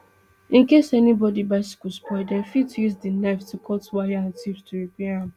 in case anybodi bicycle spoil dem fit use di knife to cut wire and tubes to repair am